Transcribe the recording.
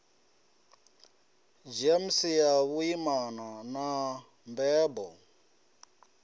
gems ya vhuimana na mbebo